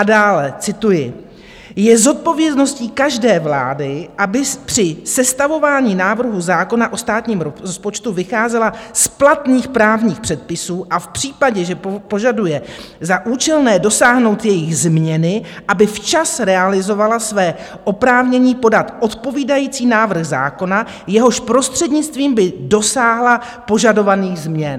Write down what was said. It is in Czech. A dále - cituji: Je zodpovědností každé vlády, aby při sestavování návrhu zákona o státním rozpočtu vycházela z platných právních předpisů a v případě, že požaduje za účelné dosáhnout jejich změny, aby včas realizovala své oprávnění podat odpovídající návrh zákona, jehož prostřednictvím by dosáhla požadovaných změn.